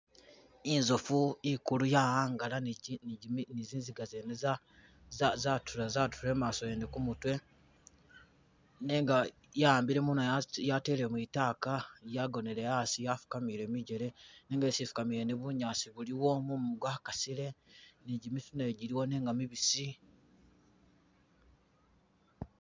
I'nzoofu i'kulu ya'angala ni gimi.. ni zinziga zene za zatuula i'maaso wene ku'mutwe, nenga ya'ambile mo ne ya yatele mwitaka yagonele a'asi yafukamile mijele, nenga isi fukamile ne bunyaasi buliwo mumu kwa kasile ni gimiti najo jiliwo nenga mibisi